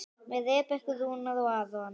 Með Rebekku Rúnar og Aron.